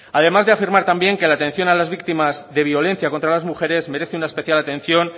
además de afirma también que la atención a las víctimas de violencia contra las mujeres merece una especial atención